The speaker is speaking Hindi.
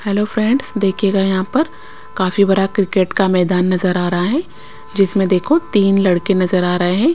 हेलो फ्रेंड्स देखिएगा यहाँ पर काफी बड़ा क्रिकेट का मैदान नजर आ रहा है जिसमें देखो तीन लड़के नजर आ रहे हैं।